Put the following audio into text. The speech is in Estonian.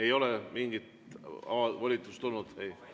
Ei ole mingit volitust tulnud?